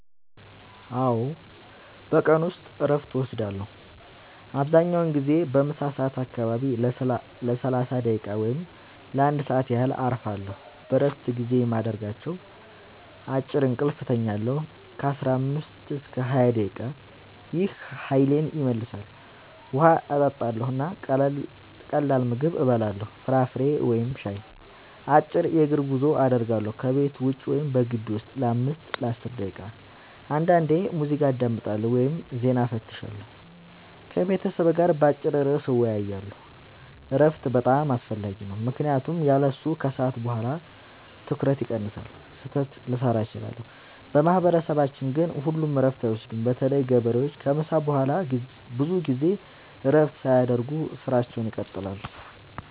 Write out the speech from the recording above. አዎ፣ በቀን ውስጥ እረፍት እወስዳለሁ። አብዛኛውን ጊዜ በምሳ ሰዓት አካባቢ ለ30 ደቂቃ ወይም ለ1 ሰዓት ያህል እረፋለሁ። በእረፍት ጊዜዬ የማደርጋቸው፦ · አጭር እንቅልፍ እተኛለሁ (15-20 ደቂቃ) – ይህ ኃይሌን ይመልሳል። · ውሃ እጠጣለሁ እና ቀላል ምግብ እበላለሁ (ፍራፍሬ ወይም ሻይ)። · አጭር የእግር ጉዞ አደርጋለሁ – ከቤት ውጭ ወይም በግቢው ውስጥ ለ5-10 ደቂቃ። · አንዳንዴ ሙዚቃ አዳምጣለሁ ወይም ዜና እፈትሻለሁ። · ከቤተሰብ ጋር በአጭር ርዕስ እወያያለሁ። እረፍት በጣም አስፈላጊ ነው ምክንያቱም ያለሱ ከሰዓት በኋላ ትኩረቴ ይቀንሳል፣ ስህተት ልሠራ እችላለሁ። በማህበረሰባችን ግን ሁሉም እረፍት አይወስዱም – በተለይ ገበሬዎች ከምሳ በኋላ ብዙ ጊዜ እረፍት ሳያደርጉ ሥራቸውን ይቀጥላሉ።